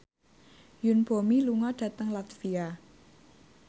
Yoon Bomi lunga dhateng latvia